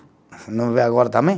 Não vê agora também?